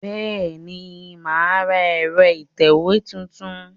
Bẹ́ẹ̀ni, mà á ra ẹ̀rọ ìtẹ̀wé tuntun